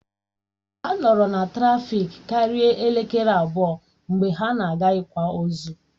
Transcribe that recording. Ha nọrọ na trafiki karia elekere abụọ mgbe ha na-aga ị̀kwa ozu